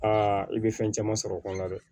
Aa i bɛ fɛn caman sɔrɔ o kɔnɔna dɛ